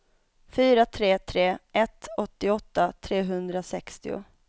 fyra tre tre ett åttioåtta trehundrasextio